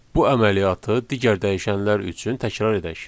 Bu əməliyyatı digər dəyişənlər üçün təkrar edək.